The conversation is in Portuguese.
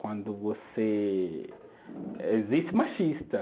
Quando você. Existe machista.